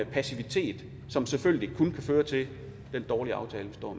passivitet som selvfølgelig kun kan føre til den dårlige aftale